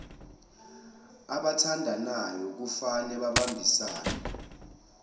abathandanayo kufane babambisane